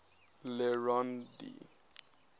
le rond d